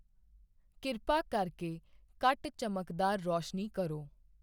ਕਿਰਪਾ ਕਰਕੇ ਘੱਟ ਚਮਕਦਾਰ ਰੌਸ਼ਨੀ ਕਰੋ